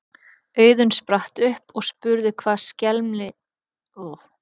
Auðunn spratt upp og spurði hvað skelmi þar væri.